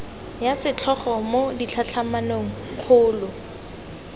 ya setlhogo mo ditlhatlhamanong kgolo